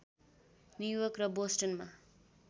New York र बोस्टनमा